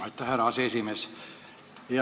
Aitäh, härra aseesimees!